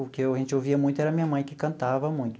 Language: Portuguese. O que a gente ouvia muito era minha mãe que cantava muito.